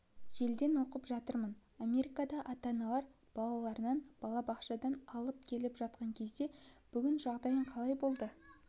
желіден оқып жатырмын америкада ата-аналар балаларын балабақшадан алып кетіп жатқан кезде бүгін жағдайың қалай болды